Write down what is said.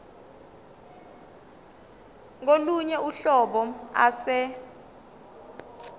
kolunye uhlobo ase